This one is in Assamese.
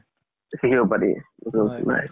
শিকিব পাৰি